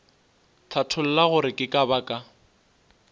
hlatholla gore ke ka baka